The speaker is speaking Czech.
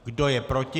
Kdo je proti?